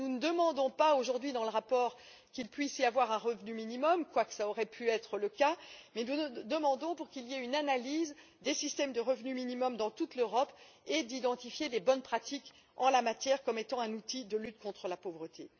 Nous ne demandons donc pas aujourd'hui dans le rapport qu'il puisse y avoir un revenu minimum quoique cela aurait pu être le cas mais nous le demandons pour qu'il y ait une analyse des systèmes de revenu minimum dans toute l'Europe et identifier les bonnes pratiques en la matière comme étant un outil de lutte contre la pauvreté.